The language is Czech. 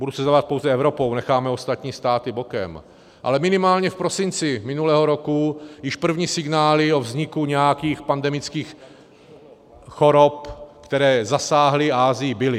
Budu se zabývat pouze Evropou, necháme ostatní státy bokem, ale minimálně v prosinci minulého roku již první signály o vzniku nějakých pandemických chorob, které zasáhly Asii, byly.